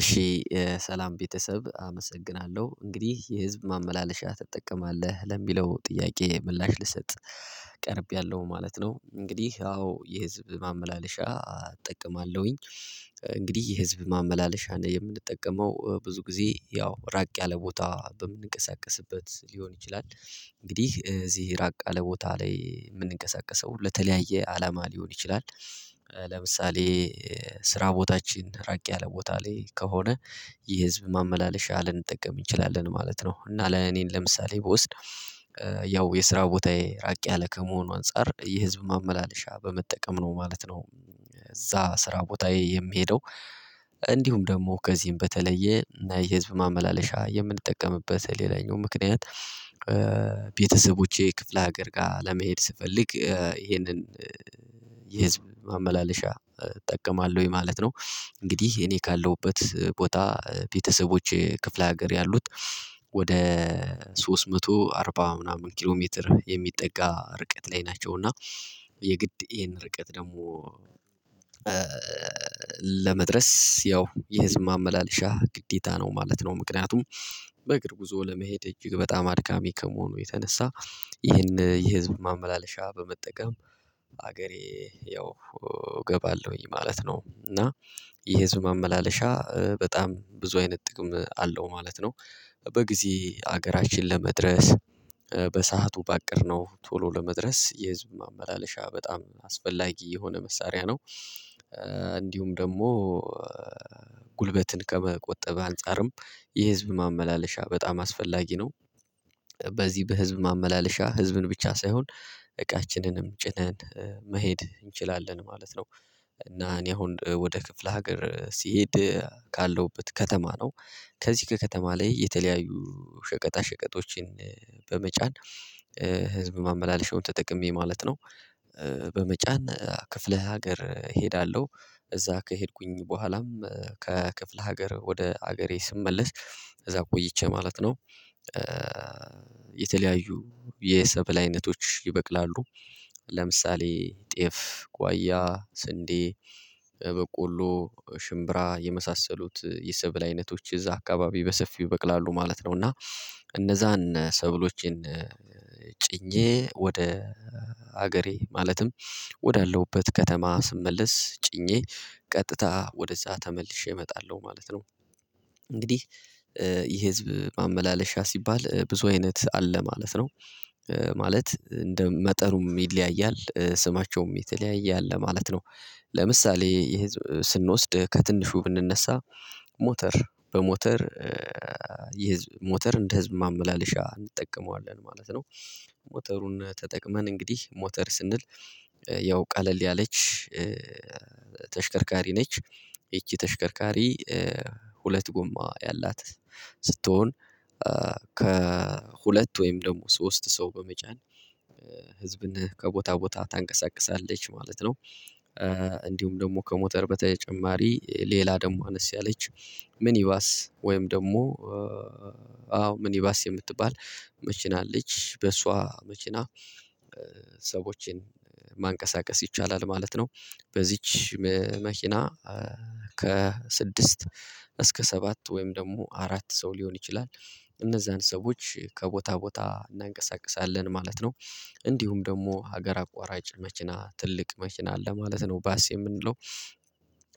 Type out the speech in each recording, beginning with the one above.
እሺ ሰላም ቤተሰብ አመሰግናለሁ እንግዲህ የህዝብ ማመላለሻ ትጠቀማለህ ለሚለው ጥያቄ ምላሽ ልሰጥ ቀርቤያለሁ ማለት ነው። እንግዲህ አዎ የህዝብ ማመላለሻ እጠቀማለሁኝ። እንግዲህ የህዝብ ማመላለሻ ነው የምንጠቀመው ብዙ ጊዜ ያው ራቅ ያለ ቦታ በምንንቀሳቀስበት ሊሆን ይችላል እንግዲህ እዚህ ራቅ ያለ ቦታ ላይ የምንንቀሳቀሰው ለተለያየ አላማ ሊሆን ይችላል። ለምሳሌ ስራ ቦታችን ራቅ ያለ ቦታ ላይ ከሆነ የህዝብ ማመላለሻ ልንጠቀም እንችላለን ማለት ነው። እና ለኔም ለምሳሌ ብወስድ ያው የስራ ቦታዬ ራቅ ያለ ከመሆኑ አንፃር የህዝብ ማመላለሻ በመጠቀም ነው ማለት ነው። እዛ ስራ ቦታዬ የምሄደው። እንዲሁም ደግሞ ከዚህም በተለየ የህዝብ ማመላለሻ የምንጠቀምበት ሌላኛው ምክንያት ቤተሰቦቼ ክፍለ ሀገር ጋር ለመሄድ ስፈልግ ይሄንን የህዝብ ማመላለሻ እጠቀማለሁኝ ማለት ነው። እንግዲህ እኔ ካለሁበት ቦታ ቤተሰቦቼ ክፍለ ሀገር ያሉት ወደ ሶስት መቶ አርባ ምናምን ኪሎ ሜትር የሚጠጋ ርቀት ላይ ናቸው። እና የግድ ይሄን ርቀት ደግሞ ለመድረስ ያው የህዝብ ማመላለሻ ግዴታ ነው ማለት ነው። ምክንያቱም በእግር ጉዞ ለመሄድ እጅግ በጣም አድካሚ ከመሆኑ የተነሳ። ይህን የህዝብ ማመላለሻ በመጠቀም ሀገሬ ያው እገባለሁኝ ማለት ነው። እና የህዝብ ማመላለሻ በጣም ብዙ አይነት ጥቅም አለው ማለት ነው። በጊዜ ሀገራችን ለመድረስ በሰአቱ ባቀድነው ቶሎ ለመድረስ የህዝብ ማመላለሻ በጣም አስፈላጊ የሆነ መሳሪያ ነው። እንዲሁም ደግሞ ጉልበትን ከመቆጠብ አንፃርም የህዝብ ማመላለሻ በጣም አስፈላጊ ነው። በዚህ በህዝብ ማመላለሻ ህዝብን ብቻ ሳይሆን እቃችንንም ጭነን መሄድ እንችላለን ማለት ነው። እና እኔ አሁን ወደ ክፍለ ሀገር ሲሄድ ካለውበት ከተማ ነው። ከዚህ ከከተማ ላይ የተለያዩ ሸቀጣ ሸቀጦችን በመጫን ህዝብ ማመላለሻውን ተጠቅሜ ማለት ነው። በመጫን ክፍለ ሀገር እሄዳለሁ። እዛ ከሄድኩኝ በኋላም ከክፍለ ሀገር ወደ ሀገሬ ስመለስ እዛ ቆይቼ ማለት ነው። የተለያዩ የሰበል አይነቶች ይበቅላሉ። ለምሳሌ ጤፍ ጓያ ስንዴ በቆሎ ሽምብራ የመሳሰሉት የሰብል አይነቶች እዛ አካባቢ በሰፊው በቅላሉ ማለት ነው። እና እነዛን ሰብሎችን ጭኜ ወደ ሀገሬ ማለትም ወዳለሁበት ከተማ ስመለስ ጭኜ ቀጥታ ወደዛ ተመልሼ እመጣለሁ ማለት ነው። እንግዲህ የህዝብ ማመላለሻ ሲባል ብዙ አይነት አለ ማለት ነው። ማለት እንደ መጠኑም ይለያያል ስማቸውም የተለያየ አለ ማለት ነው። ለምሳሌ የህዝብ ስንወስድ ከትንሹ ብንነሳ ሞተር በሞተር ሞተር የህዝብ እንደ ህዝብ ማመላለሻ እንጠቀመዋለን ማለት ነው። ሞተሩን ተጠቅመን እንግዲህ ሞተር ስንል ያው ቀለል ያለች ተሽከርካሪ ነች። ይቺ ተሽከርካሪ ሁለት ጎማ ያላት ስትሆን ከሁለት ወይም ደግሞ ሶስት ሰው በመጫን ህዝብን ከቦታ ቦታ ታንቀሳቅሳለች ማለት ነው። እንዲሁም ደግሞ ከሞተር በተጨማሪ ሌላ ደግሞ አነስ ያለች ምኒባስ ወይም ደግሞ አዎ ምኒባስ የምትባል መኪና አለች በሷ መኪና ሰዎችን ማንቀሳቀስ ይቻላል ማለት ነው። በዚች መኪና ከስድስት እስከ ሰባት ወይም ደግሞ አራት ሰው ሊሆን ይችላል። እነዛን ሰዎች ከቦታ ቦታ እናንቀሳቅሳለን ማለት ነው። እንዲሁም ደግሞ ሀገር አቋራጭ መኪና ትልቅ መኪና አለ ማለት ነው ባስ የምንለው።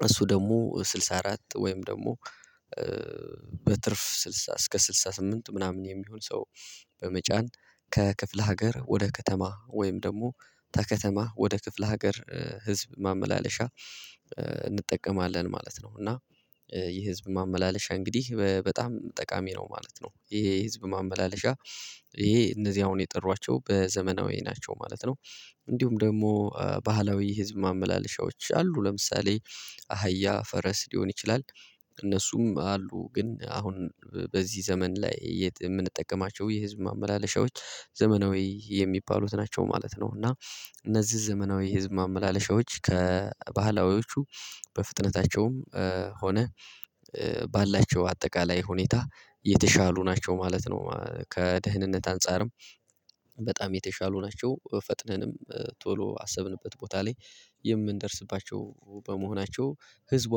እሱ ደግሞ ስልሳ አራት ወይም ደግሞ በትርፍ ስድሳ እስከ ስድሳ ስምንት ምናምን የሚሆን ሰው። በመጫን ከክፍለ ሀገር ወደ ከተማ ወይም ደግሞ ከከተማ ወደ ክፍለ ሀገር ህዝብ ማመላለሻ እንጠቀማለን ማለት ነው። እና ይህ ህዝብ ማመላለሻ እንግዲህ በጣም ጠቃሚ ነው ማለት ነው። ይሄ ህዝብ ማመላለሻ ይሄ እነዚህ አሁን የጠሯቸው በዘመናዊ ናቸው ማለት ነው። እንዲሁም ደግሞ ባህላዊ ህዝብ ማመላለሻዎች አሉ ለምሳሌ አህያ ፈረስ ሊሆን ይችላል። እነሱም አሉ ግን አሁን በዚህ ዘመን ላይ የምንጠቀማቸው የህዝብ ማመላለሻዎች ዘመናዊ የሚባሉት ናቸው ማለት ነው። እና እነዚህ ዘመናዊ የህዝብ ማመላለሻዎች ከባህላዊዎቹ በፍጥነታቸውም ሆነ ባላቸው አጠቃላይ ሁኔታ የተሻሉ ናቸው ማለት ነው። ከደህንነት አንፃርም በጣም የተሻሉ ናቸው። ፈጥነንም ቶሎ አሰብንበት ቦታ ላይ የምንደርስባቸው በመሆናቸው ህዝብ